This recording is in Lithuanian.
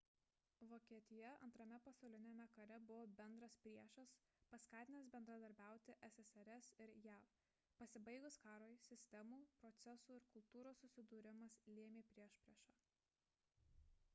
vokietija 2 pasauliniame kare buvo bendras priešas paskatinęs bendradarbiauti ssrs ir jav pasibaigus karui sistemų procesų ir kultūros susidūrimas lėmė priešpriešą